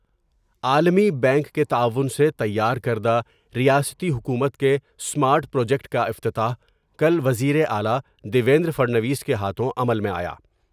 عالمی بینک کے تعاون سے تیار کردہ ریاستی حکومت کے اسمارٹ پروجیکٹ کا افتتاح کل وزیراعلی دیویندر پھڑنویس کے ہاتھوں عمل میں آیا ۔